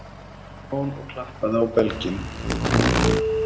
spurði Jón og klappaði á belginn.